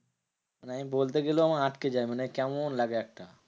মানে আমি বলতে গেলেও আমার আটকে যায়। মানে কেমন লাগে একটা?